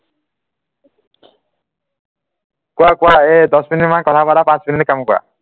কোৱা কোৱা এ দহ মিনিট কাম কৰা পাঁচ মিনিট কাম কৰা